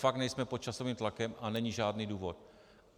Fakt nejsme pod časovým tlakem a není žádný důvod.